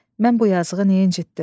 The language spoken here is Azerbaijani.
Mən bu yazıqı niyə incitdim?